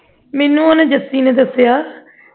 ਮੈਨੂੰ ਉਹਨੇ ਜੱਸੀ ਨੇ ਦੱਸਿਆ